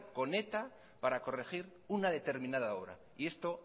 con eta para corregir una determinada obra y esto